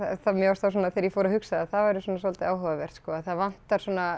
mér fannst það svona þegar ég fór að hugsa það það væri svona svolítið áhugavert það vantar svona